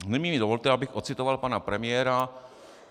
Nyní mi dovolte, abych odcitoval pana premiéra.